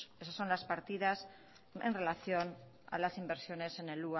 esas son las partidas en relación a las inversiones en el